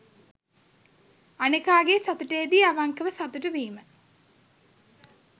අනෙකාගේ සතුටේදී අවංකව සතුටු වීම